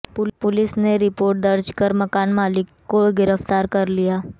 police ने report दर्ज कर मकान मालिक को गिरफ्तार कर लिया है